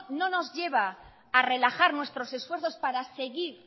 no nos lleva a relajar nuestros esfuerzos para seguir